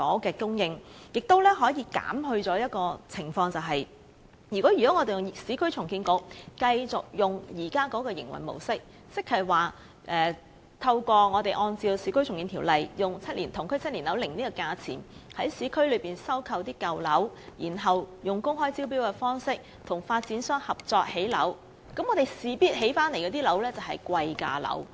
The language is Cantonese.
同時，這亦可避免一種情況，就是如果我們讓市建局沿用現時的營運模式，按照《市區重建局條例》以同區7年樓齡的樓價為指標在市區收購舊樓，再以公開招標的方式與發展商合作興建樓宇，建成的樓宇必屬貴價樓。